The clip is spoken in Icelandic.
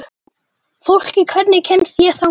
Fólki, hvernig kemst ég þangað?